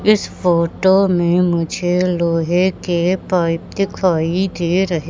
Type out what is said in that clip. इस फोटो में मुझे लोहे के पाइप दिखाई दे रहे--